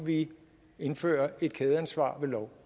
vi indfører et kædeansvar ved lov